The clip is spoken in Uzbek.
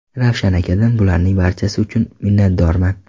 Ravshan akadan bularning barchasi uchun minnatdorman.